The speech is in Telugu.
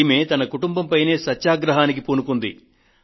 ఈమె ఆమె కుటుంబం పైనే సత్యాగ్రహానికి పూనుకొన్నది